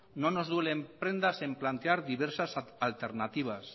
no nos duele en prendas en plantear diversas alternativas